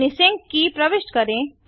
अपनी सिंक की प्रविष्ट करें